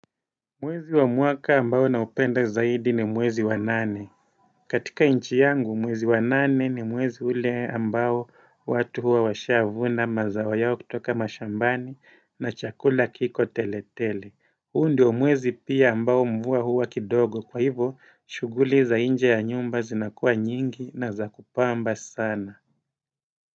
Mwezi wa mwaka ambao na upenda zaidi ni mwezi wa nane katika inchi yangu mwezi wa nane ni mwezi ule ambao watu huwa washia avuna mazawa yao kutoka mashambani na chakula kiko tele tele huu ndio mwezi pia ambao mvua huwa kidogo kwa hivo shuguli za inje ya nyumba zinakua nyingi na za kupamba sana.